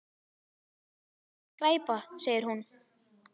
Þetta er líka skræpa segir hún.